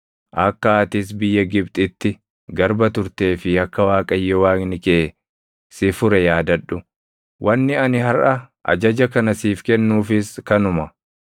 Akka atis biyya Gibxitti garba turtee fi akka Waaqayyo Waaqni kee si fure yaadadhu. Wanni ani harʼa ajaja kana siif kennuufis kanuma.